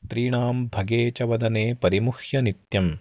स्त्रीणां भगे च वदने परिमुह्य नित्यम्